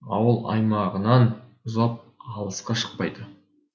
ауыл аймағынан ұзап алысқа шықпайды